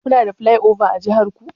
Kuna da plyova a jihar ku?